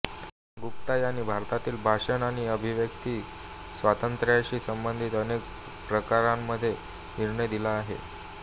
गुप्ता यांनी भारतातील भाषण आणि अभिव्यक्ती स्वातंत्र्याशी संबंधित अनेक प्रकरणांमध्ये निर्णय दिला आहे